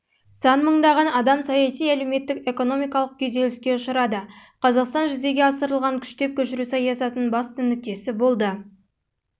сан мыңдаған адам саяси әлеуметтік-экономикалық күйзеліске ұшырады қазақстан жүзеге асырылған күштеп көшіру саясатының басты нүктесі болды